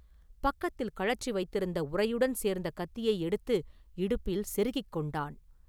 பக்கத்தில் கழற்றி வைத்திருந்த உறையுடன் சேர்ந்த கத்தியை எடுத்து இடுப்பில் செருகிக் கொண்டான்.